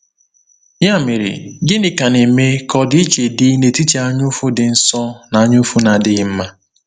Ya mere, gịnị ka na-eme ka ọdịiche dị n’etiti anyaụfụ dị nsọ na anyaụfụ na-adịghị mma?